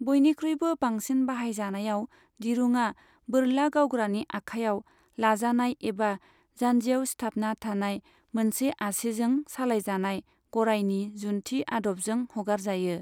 बयनिख्रुयबो बांसिन बाहायजानायाव दिरुङा बोरला गावग्रानि आखायाव लाजानाय एबा जानजियाव सिथाबना थानाय मोनसे आसिजों सालायजानाय गरायनि जुन्थि आदबजों हगारजायो।